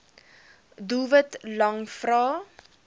doelwit lang vrae